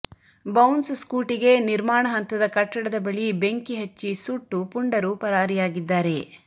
bounce ಸ್ಕೂಟಿಗೆ ನಿರ್ಮಾಣ ಹಂತದ ಕಟ್ಟಡದ ಬಳಿ ಬೆಂಕಿ ಹಚ್ಚಿ ಸುಟ್ಟು ಪುಂಡರು ಪರಾರಿಯಾಗಿದ್ದಾರೆ